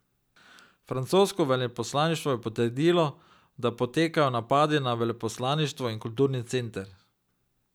Francosko veleposlaništvo je potrdilo, da potekajo napadi na veleposlaništvo in kulturni center.